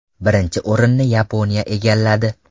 Birinchi o‘rinni Yaponiya egalladi.